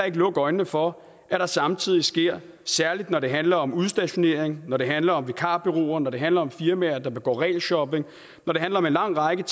ikke lukke øjnene for at der samtidig særlig når det handler om udstationering når det handler om vikarbureauer når det handler om firmaer der begår regelshopping når det handler om en lang række